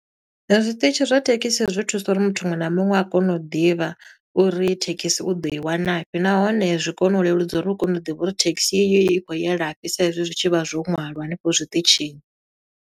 Zwiṱitshi zwa thekhisi zwi thusa uri muthu muṅwe na muṅwe a kone u ḓivha, uri thekhisi u ḓo i wanafhi. Nahone zwi kone u leludza uri u kone u ḓivha uri thekhisi iyo i kho ye la fhi, sa i zwi zwi tshi vha zwo ṅwalwa hanefho zwiṱitshini.